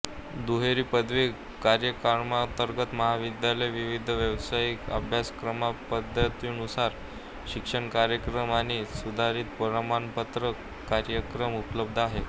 दुहेरी पदवी कार्यक्रमांतर्गत महाविद्यालयात विविध व्यावसायिक अभ्यासक्रमपदव्युत्तर शिक्षण कार्यक्रम आणि सुधारित प्रमाणपत्र कार्यक्रम उपलब्ध आहेत